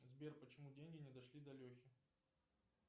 сбер почему деньги не дошли до лехи